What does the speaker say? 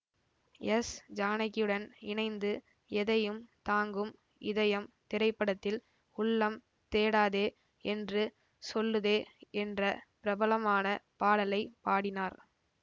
S ஜானகியுடன் இணைந்து எதையும் தாங்கும் இதயம் திரைப்படத்தில் உள்ளம் தேடாதே என்று சொல்லுதே என்ற பிரபலமான பாடலை பாடினார்